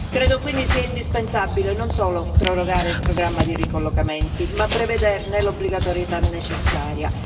Credo quindi sia indispensabile non solo prorogare il programma di ricollocamenti, ma prevederne l'obbligatorietà necessaria.